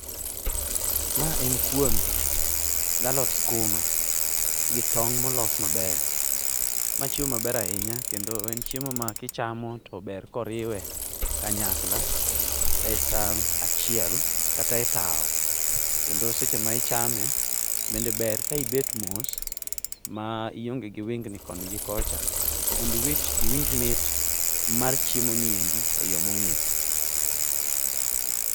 Ma en kuon galot skuma gi tong' molos maber. Ma chiemo maber ahinya kendo en chiemo makichamo to ber koriwe kanyakla e san achiel kata e tawo. Kendo seche ma ichame bende ber ka ibet mos ma ionge gi wingni koni gi kocha mondiwinj mit mar chiemoni e yo mong'ith.